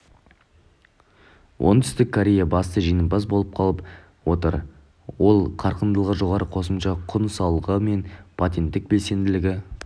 оңтүстік корея басты жеңімпаз болып қалып отыр ол қарқындылығы жоғары қосымша құн салығы мен патенттік белсенділігі